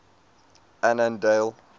annandale